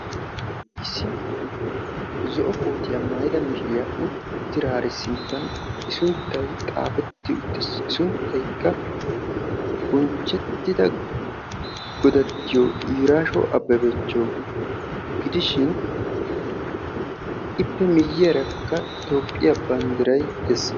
issi zo'o koottiya maayida mishiriya uttidaari sinttan i sunttay xaafetti uttiis. i suntaykka bonchettida godattiyo iraasho ababacho gidishin, ippe miyiyaarakka toophiya bandiray dees.